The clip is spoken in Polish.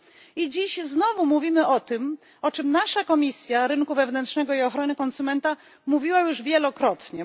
I dziś znowu mówimy o tym, o czym nasza Komisja Rynku Wewnętrznego i Ochrony Konsumenta mówiła już wielokrotnie.